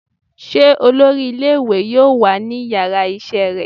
se olorí ìlé-ìwé yọọ wa ní ìyára isé rẹ?